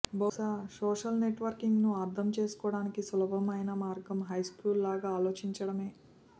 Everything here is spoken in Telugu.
బహుశా సోషల్ నెట్ వర్కింగ్ ను అర్థం చేసుకోవటానికి సులభమైన మార్గం హైస్కూల్ లాగా ఆలోచించడమే